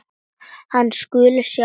Hann skuli sjá um þetta.